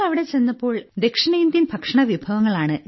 ഞങ്ങൾ അവിടെ ചെന്നപ്പോൾ ദക്ഷിണേന്ത്യൻ ഭക്ഷണവിഭവങ്ങ